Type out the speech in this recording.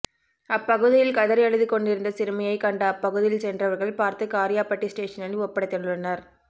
அப்பகுதியில் கதறி அழுது கொண்டிருந்த சிறுமியை கண்ட அப்பகுதியில் சென்றவர்கள் பார்த்து காரியாபட்டி ஸ்டேஷனில் ஒப்படைத்துள்ளனர்